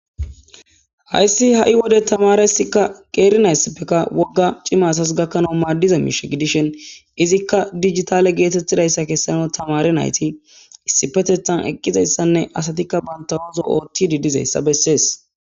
hayssi ha7i wode tamare sikka qeerinayssappeka wogga cimasas gakkanau maaddiza miishe gidishen izikka dijitale geetettidayssa kessano tamare nayti issipetethan eqqizayssanne asatikka banta ooso oothtididizayssa bessees